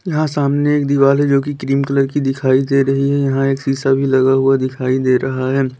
यहां सामने एक दिवाली जो की क्रीम कलर की दिखाई दे रही है यहां एक सीसा भी लगा हुआ दिखाई दे रहा है।